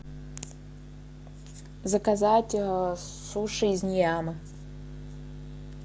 заказать суши из ниямы